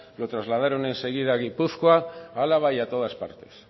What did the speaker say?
lo trasladaron enseguida a gipuzkoa álava y a todas partes